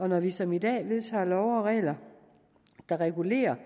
når vi som i dag vedtager love og regler der regulerer